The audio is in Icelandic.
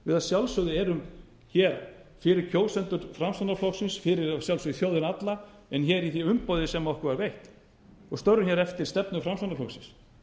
við að sjálfsögðu erum hér fyrir kjósendur framsóknarflokksins fyrir að sjálfsögðu þjóðina alla en hér í því umboði sem okkur var veitt og störfum hér eftir stefnu framsóknarflokksins